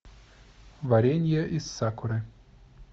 варенье из сакуры